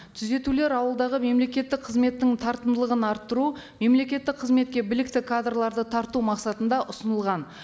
түзетулер ауылдағы мемлекеттік қызметтің тартымдылығын арттыру мемлекеттік қызметке білікті кадрларды тарту мақсатында ұсынылған